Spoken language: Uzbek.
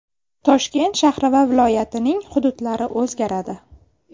Toshkent shahri va viloyatining hududlari o‘zgaradi.